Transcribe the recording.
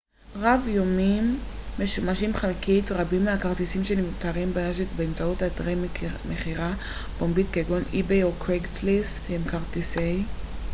רבים מהכרטיסים שנמכרים ברשת באמצעות אתרי מכירה פומבית כגון איביי או קרייגסליסט הם כרטיסי park-hopper רב-יומיים משומשים חלקית